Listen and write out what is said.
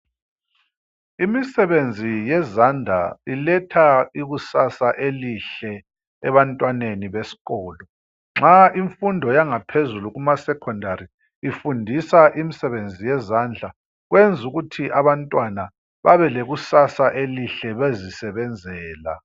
Imisebenzi yezandla iletha ikusasa elihle ebantwaneni beskolo. Nxa imfundo yangaphezulu kumasekhondari ifundisa imsebenzi yezandla kwenz' ukuthi abantwana babelekusasa elihle bezisebenzela.